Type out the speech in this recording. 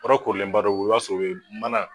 Yɔrɔ korilenbadɔ be yen i b'a sɔrɔ o ba mana